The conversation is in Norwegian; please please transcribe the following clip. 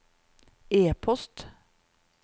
e-post